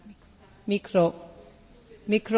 Frau Präsidentin, Herr Kommissar Caňete!